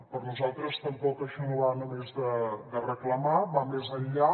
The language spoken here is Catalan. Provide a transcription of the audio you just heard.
per nosaltres tampoc això no va només de reclamar va més enllà